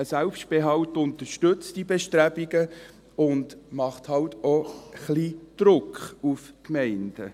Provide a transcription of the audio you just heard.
Ein Selbstbehalt unterstützt diese Bestrebungen und macht eben auch ein wenig Druck auf die Gemeinden.